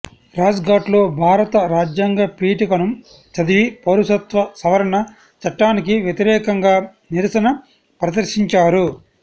రాజ్ ఘాట్లో భారత రాజ్యాంగ పీఠికను చదివి పౌరసత్వ సవరణ చట్టానికి వ్యతిరేకంగా నిరసన ప్రదర్శించారు